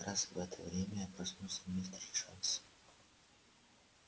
как раз в это время проснулся мистер джонс